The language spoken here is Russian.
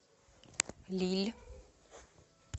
лилль